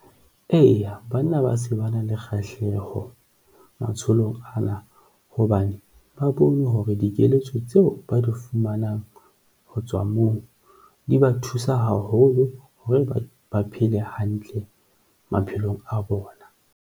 Eya, banna ba se ba na le kgahleho matsholong ana hobane ba bone hore dikeletso tseo ba di fumanang ho tswa moo di ba thusa haholo hore ba phele hantle maphelong a bona.